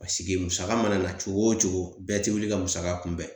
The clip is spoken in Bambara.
musaka mana na cogo o cogo bɛɛ tɛ wuli ka musaka kunbɛn